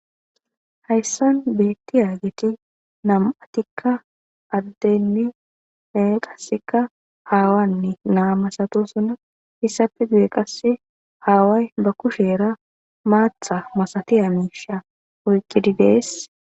Hayssan beetti yaagiti nam'atikka addenni nae qasseka haawanni naa masatu suna hissafe duye qasse haaway ba kusheera maatha masatiya miisha oyqqididees.